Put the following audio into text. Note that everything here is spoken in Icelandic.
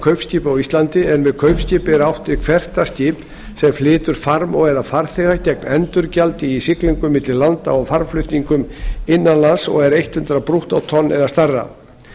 kaupskipa á íslandi en með kaupskipi er átt við hvert það skip sem flytur farm og eða farþega gegn endurgjaldi í siglingum milli landa og farmflutningum innan lands og er hundrað brúttótonn eða stærra